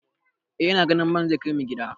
Eh ina ganin man zai kai mu gida.